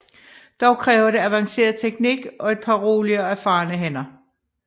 Dog kræver det advanceret teknik og et par rolige og erfarne hænder